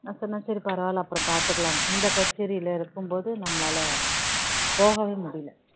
நான் சொன்னேன் சரி பரவாயில்ல அப்பறோம் பார்த்துக்கலாம் இந்த கச்சேரில இருக்கும் போது நம்மளால போகவே முடியல